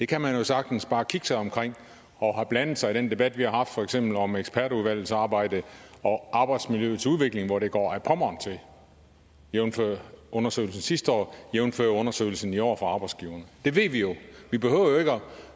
kan jo sagtens bare kigge sig omkring og blande sig i den debat vi har haft for eksempel om ekspertudvalgets arbejde og arbejdsmiljøets udvikling hvor det går ad pommern til jævnfør undersøgelsen sidste år jævnfør undersøgelsen i år fra arbejdsgiverne det ved vi jo det behøver